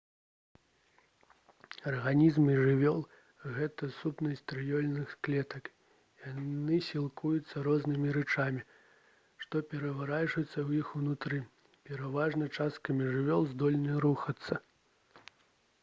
арганізмы жывёл гэта сукупнасць трыльёнаў клетак яны сілкуюцца рознымі рэчамі што пераварваюцца ў іх унутры пераважная частка жывёл здольны рухацца